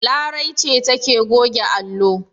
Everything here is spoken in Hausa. Larai ce take goge allo.